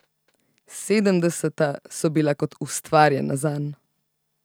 Sedemdeseta so bila kot ustvarjena zanj.